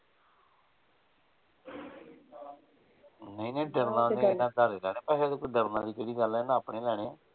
ਨਹੀਂ ਡਰਦਾ ਤੇ ਧਾਰੇ ਲੈਣੇ ਪੈਸੇ ਡਰਨ ਆਲੀ ਕਿਹੜੀ ਗੱਲ ਆ ਇਹਨਾਂ ਆਪਣੇ ਲੈਣੇ।